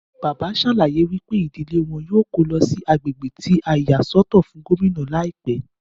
Bàbá ṣèlérí wípé ìdílé wọn yíò ko lọ sí àgbègbè ti a yà sọ́tọ̀ fún Gómìnà ní àìpẹ